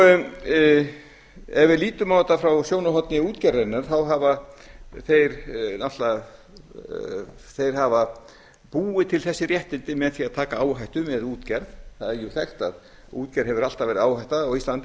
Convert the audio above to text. ef við lítum á þetta frá sjónarhorni útgerðarinnar þá hafa þeir náttúrlega búið til þessi réttindi með því að taka áhættu með útgerð það er sagt að útgerð hafi alltaf verið áhætta á íslandi